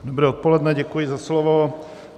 Dobré odpoledne, děkuji za slovo.